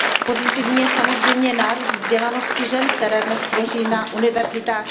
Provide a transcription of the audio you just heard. Pozitivní je samozřejmě nárůst vzdělanosti žen, které dnes tvoří na univerzitách